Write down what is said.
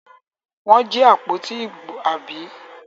Wọ́n jí àpótí ìbò, àbí?